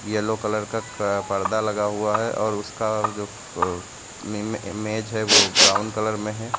Yellow colour क का पर्दा लगा हुआ है और उसका जो अह में मे मेज है वो ब्राउन कलर में है।